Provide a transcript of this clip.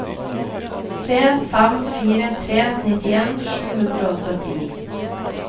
tre fem fire tre nittien sju hundre og syttini